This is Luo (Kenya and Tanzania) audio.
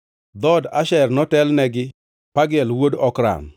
Dhood Asher notelne gi Pagiel wuod Okran,